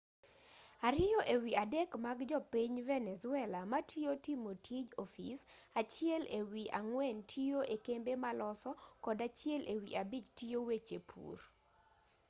ariyo ewi adek mag jo piny venezuela matiyo timo tij ofis achiel ewi ang'wen tiyo ekembe maloso kod achiel ewi abich tiyo weche pur